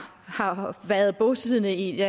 har været bosiddende i